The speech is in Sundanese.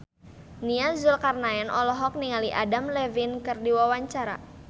Nia Zulkarnaen olohok ningali Adam Levine keur diwawancara